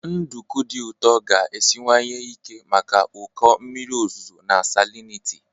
Nduku dị ụtọ ga-esiwanye ike maka ụkọ mmiri ozuzo na salinity.